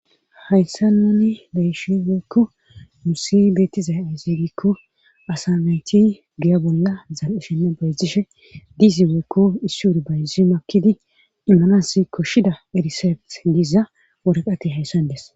Hayssa nuni bayishi weykko musi beettizay ayzegikko asamayti giya bolla zal7ishenne bayzishe diizi weykko issi wuru bayzi makidi immanas koshshida erisefet diiza woreqati hayssan des.